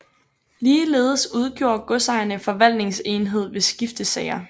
Ligeledes udgjorde godserne forvaltningsenhed ved skiftesager